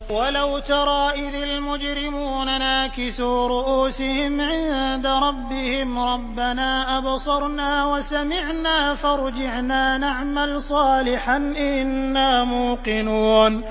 وَلَوْ تَرَىٰ إِذِ الْمُجْرِمُونَ نَاكِسُو رُءُوسِهِمْ عِندَ رَبِّهِمْ رَبَّنَا أَبْصَرْنَا وَسَمِعْنَا فَارْجِعْنَا نَعْمَلْ صَالِحًا إِنَّا مُوقِنُونَ